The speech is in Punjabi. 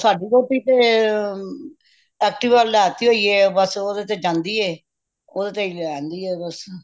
ਉਹ ਸਾਡੀ ਵੋਟੀ ਤੇ active ਲੇਤੀ ਹੋਇਐ ਤੇ ਬੱਸ ਓਹਦੇ ਤੇ ਜਾਂਦੀ ਏ ਓਹਦੇ ਤੇ ਹੀ ਲੈਂਦੀ ਏ ਬੱਸ